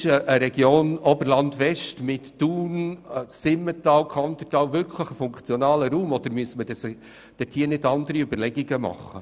Ist die Region Oberland West mit Thun, dem Simmental und dem Kandertal wirklich ein funktionaler Raum oder müssten nicht andere Überlegungen gemacht werden?